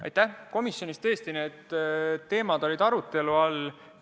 Aitäh, komisjonis tõesti need teemad olid arutelu all.